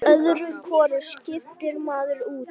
Öðru hvoru skiptir maður út.